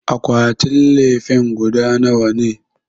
Akwatin lefen guda nawa ne?